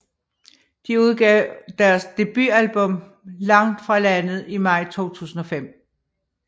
De udgav deres debutalbum Langt fra landet i maj 2005